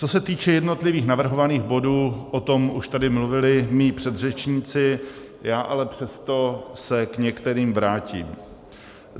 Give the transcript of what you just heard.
Co se týče jednotlivých navrhovaných bodů, o tom už tady mluvili mí předřečníci, já ale přesto se k některým vrátím.